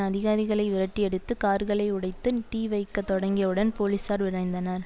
அதிகாரிகளை விரட்டியடித்து கார்களை உடைத்து தீ வைக்க தொடங்கியவுடன் போலீசார் விரைந்தனர்